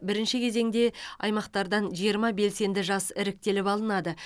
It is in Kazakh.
бірінші кезеңде аймақтардан жиырма белсенді жас іріктеліп алынады